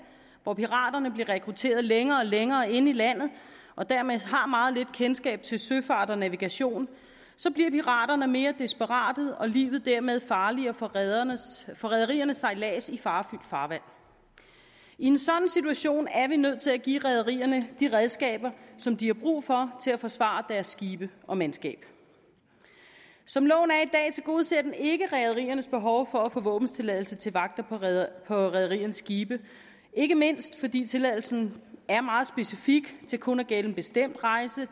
hvor piraterne bliver rekrutteret længere og længere inde i landet og dermed har meget lidt kendskab til søfart og navigation bliver piraterne mere desperate og livet dermed farligere for rederiernes rederiernes sejlads i farefyldt farvand i en sådan situation er vi nødt til at give rederierne de redskaber som de har brug for til at forsvare deres skibe og mandskab som loven er i dag tilgodeser den ikke rederiernes behov for at få våbentilladelse til vagter på rederiernes skibe ikke mindst fordi tilladelsen er meget specifik til kun at gælde en bestemt rejse og